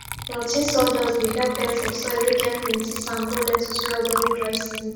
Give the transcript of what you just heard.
rot ten sawdust dey help beds of soil whey get plenty sand grow lettuce well during dry season